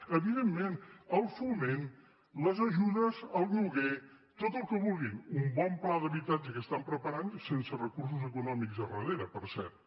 evidentment el foment les ajudes al lloguer tot el que vulguin un bon pla d’habitatge que estan preparant sense recursos econòmics a darrere per cert